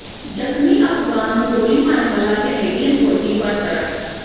ਜ਼ਖ਼ਮੀ ਅਫ਼ਗ਼ਾਨ ਨੂੰ ਗੋਲੀ ਮਾਰਨ ਵਾਲਾ ਕੈਨੇਡੀਅਨ ਫੌਜੀ ਬਰਤਰਫ